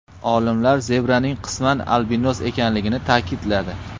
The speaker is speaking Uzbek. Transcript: Olimlar zebraning qisman albinos ekanligini ta’kidladi.